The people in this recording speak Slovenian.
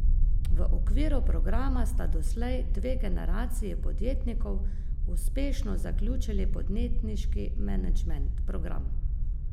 V okviru programa sta doslej dve generaciji podjetnikov uspešno zaključili podjetniški menedžment program.